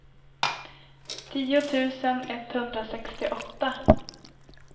tio tusen etthundrasextioåtta